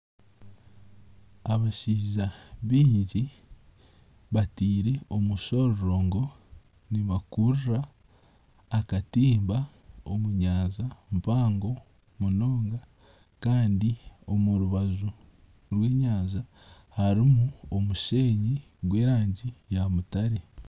Abashaija baingi bataire omushororongo, nibakurura akatimba omu nyanja mpango munonga kandi omu rubaju harimu omusheenyi gw'erangi ya mutare.